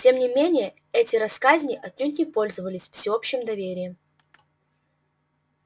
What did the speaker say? тем не менее эти россказни отнюдь не пользовались всеобщим доверием